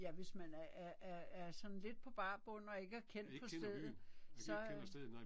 Ja hvis man er er er er sådan lidt på bar bund og ikke er kendt på stedet. Så øh